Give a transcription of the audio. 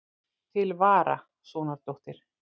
Til vara, sonardóttir.